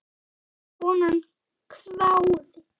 Konan hváði.